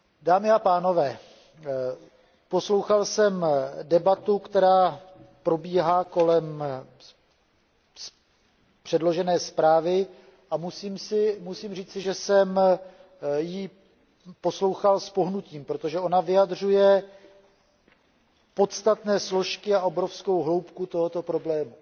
Dámy a pánové, poslouchal jsem debatu, která probíhá kolem předložené zprávy, a musím říci, že jsem ji poslouchal s pohnutím, protože vyjadřuje podstatné složky a obrovskou hloubku tohoto problému.